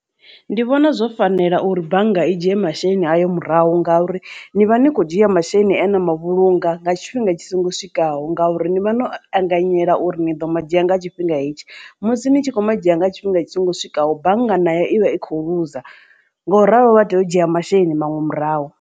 Ndi vhona zwo fanela uri bannga i dzhie masheleni ayo murahu ngauri ni vha ni kho dzhia masheleni ena mavhulunga nga tshifhinga tshi songo swikaho ngauri ni vha no anganyela uri ni ḓo madzhia nga tshifhinga hetshi musi ni tshi kho madzhia nga tshifhinga tshi songo swikaho bannga na yo ivha i kho luza nga u ralo vha tea u dzhia masheleni maṅwe murahu.